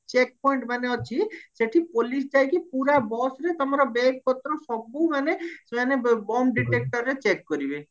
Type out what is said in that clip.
check point ମାନେ ଅଛି ସେଠି police ଯାଇକି ପୁରା busରେ ତମରବେଗ ପତ୍ର ସବୁ ମାନେ ସେମାନେ bum detectorରେ check କରିବେ